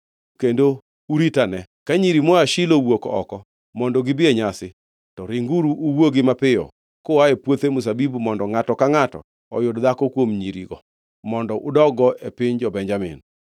kendo uritane. Ka nyiri moa Shilo owuok oko mondo gibi e nyasi, to ringuru uwuogi mapiyo kua e puothe mzabibu mondo ngʼato ka ngʼato oyud dhako kuom nyirigo mondo udog-go e piny jo-Benjamin.